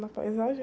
Na paisagem?